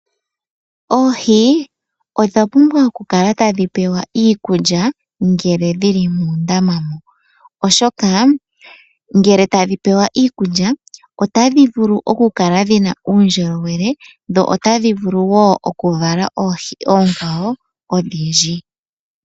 Oohi odha pumbwa oku kala tadhi pewa iikulya ngele dhi li muundama mo, oshoka ngele tadhi pewa iikulya otadhi vulu oku kala dhina uundjolowele dho otadhi wo okuvala oohi ondhindji.